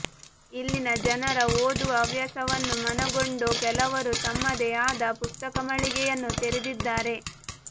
ಇಲ್ಲಿನ ಜನರ ಓದುವ ಹವ್ಯಾಸವನ್ನು ಮನಗೊಂಡು ಕೆಲವರು ತಮ್ಮದೇ ಆದ ಪುಸ್ತಕಮಳಿಗೆಯನ್ನು ತೆರೆದಿದ್ದಾರೆ